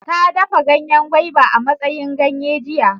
Ta dafa ganyen guava a matsayin ganye jiya.